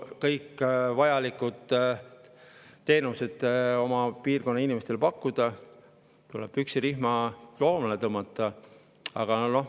Et kõiki vajalikke teenuseid oma piirkonna inimestele pakkuda, tuleb püksirihma koomale tõmmata.